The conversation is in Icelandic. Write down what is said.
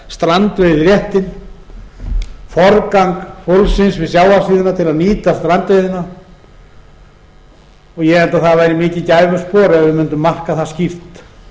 dag strandveiðiréttinn forgang fólksins við sjávarsíðuna til að nýta strandbyggðina og ég held að það væri mikið gæfuspor ef við mundum marka það skýrt